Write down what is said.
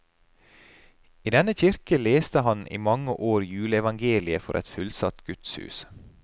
I denne kirke leste han i mange år juleevangeliet for et fullsatt gudshus.